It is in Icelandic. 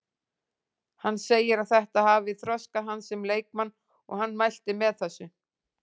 Hann segir að þetta hafi þroskað hann sem leikmann og hann mælti með þessu.